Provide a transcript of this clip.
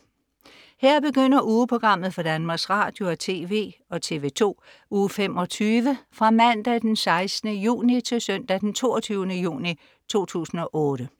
Her begynder ugeprogrammet for Danmarks Radio- og TV og TV2 Uge 25 Fra Mandag den 16. juni 2008 Til Søndag den 22. juni 2008